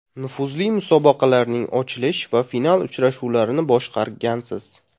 Nufuzli musobaqalarning ochilish va final uchrashuvlarini boshqargansiz.